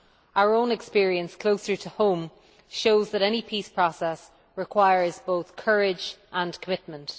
Our own experience closer to home shows that any peace process requires both courage and commitment.